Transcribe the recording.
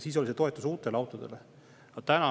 Siis oli see toetus uute autode jaoks.